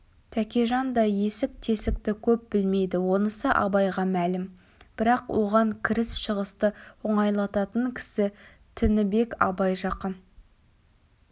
тәкежан да есік-тесікті көп білмейді онысы абайға мәлім бірақ оған кіріс-шығысты оңайлататын кісі тінібек абай жақын